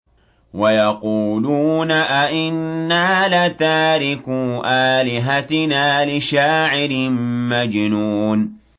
وَيَقُولُونَ أَئِنَّا لَتَارِكُو آلِهَتِنَا لِشَاعِرٍ مَّجْنُونٍ